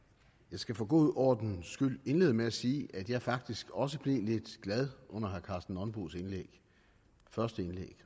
skal for god ordens skyld indlede med at sige at jeg faktisk også blev lidt glad under herre karsten nonbos første indlæg